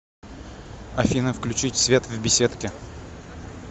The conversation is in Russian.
афина включить свет в беседке